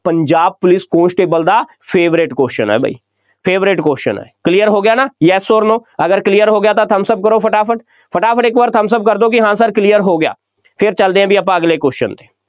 Punjab police constable ਦਾ favourite question ਹੈ ਬਈ, favourite question ਹੈ, clear ਹੋ ਗਿਆ ਨਾ, Yes or no ਅਗਰ clear ਹੋ ਗਿਆ ਤਾਂ thumbs up ਕਰੋ ਫਟਾਫਟ, ਫਟਾਫਟ ਇਕ ਵਾਰ thumbs up ਕਰ ਦਿਓ ਕਿ ਹਾਂ sir ਹੋ ਗਿਆ ਫੇਰ ਚੱਲਦੇ ਹਾਂ ਬਈ ਆਪਾਂ ਅਗਲੇ question 'ਤੇ,